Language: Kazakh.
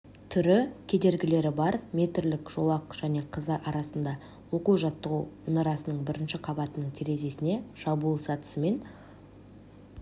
түрі кедергілері бар метрлік жолақ және қыздар арасында оқу-жаттығу мұнарасының бірінші қабатының терезесіне шабуыл сатысымен